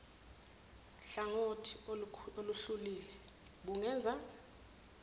hlangothi oluhluliwe bungenza